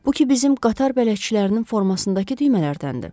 Bu ki bizim qatar bələdçilərinin formasındakı düymələrdəndir.